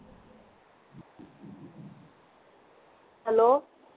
hello